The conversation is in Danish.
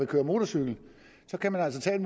køre motorcykel der kan man altså tage et